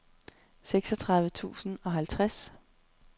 seksogtredive tusind og halvtreds